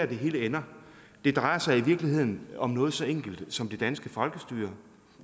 det hele ender det drejer sig i virkeligheden om noget så enkelt som det danske folkestyre